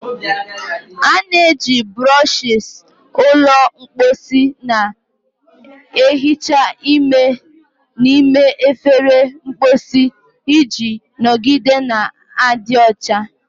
A na-eji brushes ụlọ mposi na-ehicha ime n'ime efere mposi iji nọgide na-adị ọcha.